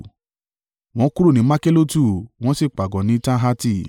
Wọ́n kúrò ní Makhelotu wọ́n sì pàgọ́ ní Tahati.